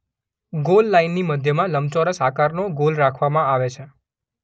Goal લાઇનની મધ્યમાં લંબચોરસ આકારનો ગોલ રાખવામાં આવે છે.